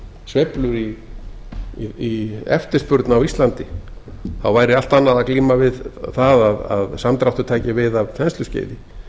sveiflur í eftirspurn á íslandi þá væri allt annað að glíma við það að samdráttur tæki við að þensluskeiði